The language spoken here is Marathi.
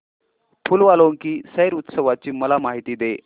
फूल वालों की सैर उत्सवाची मला माहिती दे